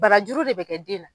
Barajuru de bɛ kɛ den na.